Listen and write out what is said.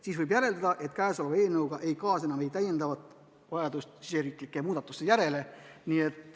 Seega võib järeldada, et tulevase seadusega ei kaasne vajadust riigisiseseid muudatusi teha.